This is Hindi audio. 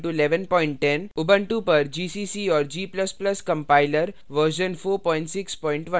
उबंटू पर gcc और g ++ compiler वर्ज़न 461